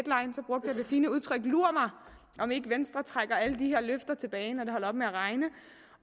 fine udtryk lur mig om ikke venstre trækker alle de her løfter tilbage når det holder op med at regne